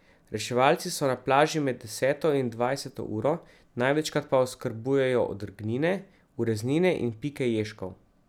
Reševalci so na plaži med deseto in dvajseto uro, največkrat pa oskrbujejo odrgnine, ureznine in pike ježkov.